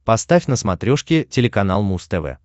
поставь на смотрешке телеканал муз тв